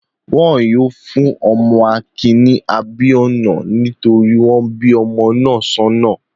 Wọn yóò fún ọmọ Akin ní 'Abíọ́nà' nítorí wọ́n bí ọmọ náà sọ́nà.